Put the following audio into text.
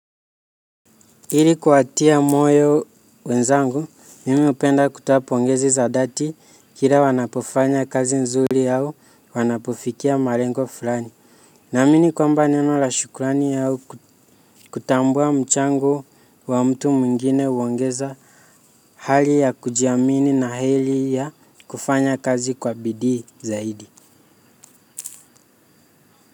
Ili kupatia moyo wenzangu, mimi hupenda kutoa pongezi za dhati kila wanapofanya kazi nzuri au wanapofikia malengo fulani. Naamini kwamba neno la shukurani au kutambua mchango wa mtu mwingine huongeza hali ya kujiamini na heri ya kufanya kazi kwa bidii zaidi.